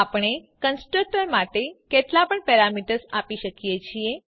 આપણે કન્સ્ટ્રક્ટર માટે કેટલા પણ પેરામીટર્સ આપી શકીએ છીએ